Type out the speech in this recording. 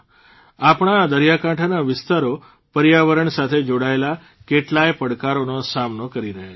આપણા આ દરિયાકાંઠાના વિસ્તારો પર્યાવરણ સાથે જોડાયેલા કેટલાય પડકારોનો સામનો કરી રહ્યા છે